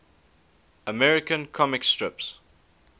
american comic strips